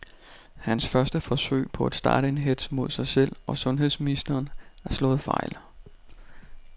Hans første forsøg på at starte en hetz mod sig selv og sundheds ministeren er slået fejl.